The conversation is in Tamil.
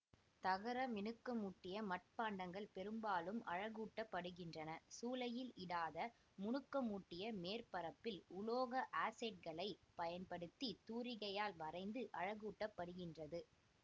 தகரமினுக்கமூட்டிய மட்பாண்டங்கள் பெரும்பாலும் அழகூட்டப்படுகின்றன சூளையில் இடாத முனுக்கமூட்டிய மேற்பரப்பில் உலோக ஆக்சைட்டுக்களைப் பயன்படுத்தித் தூரிகையால் வரைந்து அழகூட்டப்படுகின்றது